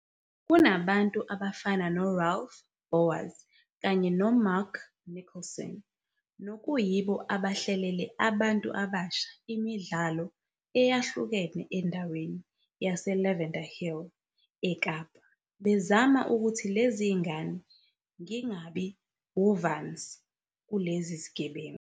Kunabantu abafana no-Ralph Bouwers kanye no-Mark Nicholson, nokuyibo abahlelele abantu abasha imidlalo eyahlukene endaweni yase-Lavender Hill eKapa bezama ukuthi lezi zingane ngingabi uvanzi kulezi zigebengu.